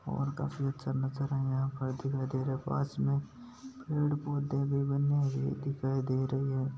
और काफी अच्छा नजारा दिखाई दे रहा है पास में पेड़ पौधे भी बने हुए दिखाई दे रहे है।